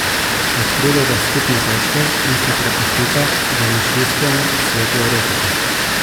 Odkrivajta skupne točke in se prepustita domišljijskemu svetu erotike.